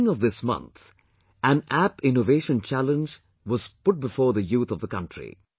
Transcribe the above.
At the beginning of this month an app innovation challenge was put before the youth of the country